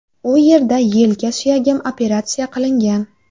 U yerda yelka suyagim operatsiya qilingan.